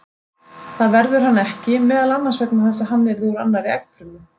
Það verður hann ekki, meðal annars vegna þess að hann yrði úr annarri eggfrumu.